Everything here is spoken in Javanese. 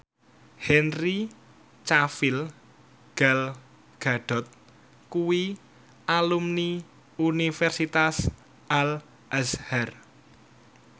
Henry Cavill Gal Gadot kuwi alumni Universitas Al Azhar